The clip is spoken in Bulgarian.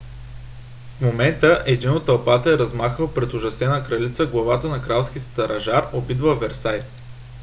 в един момент един от тълпата е размахал пред ужасената кралица главата на кралски стражар убит във версай